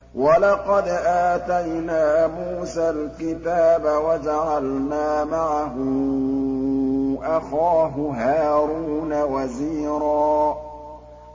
وَلَقَدْ آتَيْنَا مُوسَى الْكِتَابَ وَجَعَلْنَا مَعَهُ أَخَاهُ هَارُونَ وَزِيرًا